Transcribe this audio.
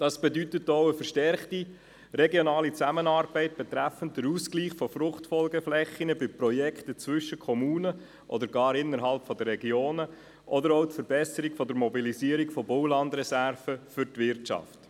Das bedeutet auch eine verstärkte regionale Zusammenarbeit bezüglich des Ausgleichs der Fruchtfolgeflächen bei Projekten zwischen verschiedenen Gemeinden oder gar innerhalb der Regionen, oder auch die Verbesserung der Mobilisierung von Baulandreserven für die Wirtschaft.